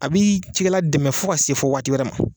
A b'i cikɛla dɛmɛ fo ka se fɔ waati wɛrɛ ma.